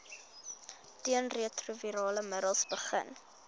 teenretrovirale middels begin